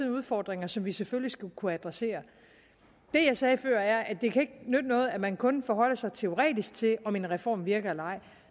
udfordringer som vi selvfølgelig skal kunne adressere det jeg sagde før er at det ikke kan nytte noget at man kun forholder sig teoretisk til om en reform virker eller ej